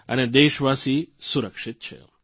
અને દેશવાસી સુરક્ષિત છે